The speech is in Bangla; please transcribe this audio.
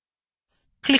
ক্লিক করুন ওকে